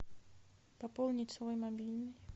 пополнить свой мобильный